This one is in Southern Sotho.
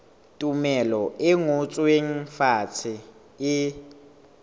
tumello e ngotsweng fatshe e